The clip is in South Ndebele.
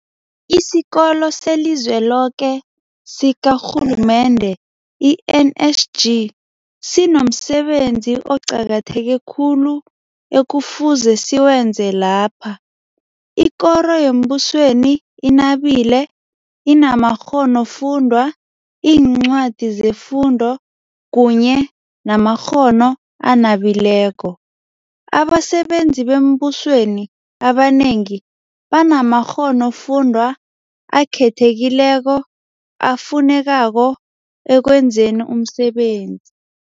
IsiKolo seliZweloke sikaRhulumende, i-NSG, sinomsebenzi oqakatheke khulu ekufuze siwenze lapha. Ikoro yembusweni inabile, inamakghonofundwa, iincwadi zefundo kunye namakghono anabileko. Abasebenzi bembusweni abanengi banamakghonofundwa akhethekileko afunekako ekwenzeni umsebenzi.